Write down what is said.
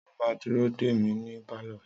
Sọ ma dúró dè mí ní pálọ̀?